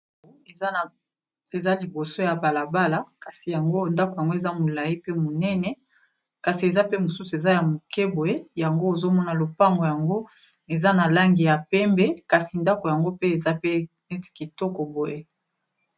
Eza liboso ya bala bala kasi yango ndako yango eza molayi pe monene, kasi eza pe mosusu eza ya moke boye yango ozo mona lopango yango eza na langi ya pembe kasi ndako yango pe eza pe neti kitoko boye.